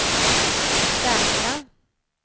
säkra